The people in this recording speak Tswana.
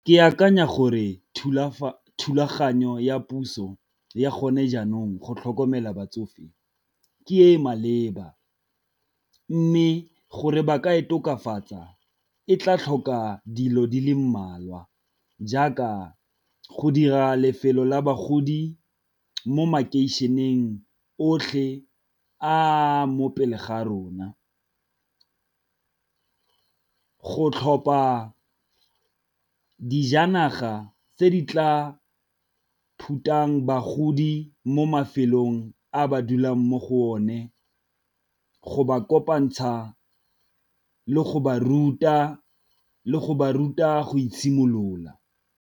Ke akanya gore thulaganyo ya puso ya gone jaanong go tlhokomela batsofe ke e e maleba, mme gore ba ka e tokafatsa e tla tlhoka dilo di le mmalwa jaaka go dira lefelo la bagodi mo makeišeneng otlhe a mopele ga rona, go tlhopa dijanaga tse di tla phutang bagodi mo mafelong a ba dulang mo go one, go ba kopantsha le go ba ruta le go ba ruta go itshimolola.